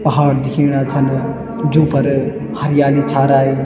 पहाड़ दिखेना छन जुन्फर हरियाली छा राई।